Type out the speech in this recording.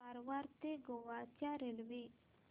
कारवार ते गोवा च्या रेल्वे